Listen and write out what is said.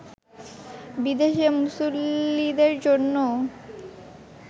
বিদেশি মুসল্লিদের জন্যও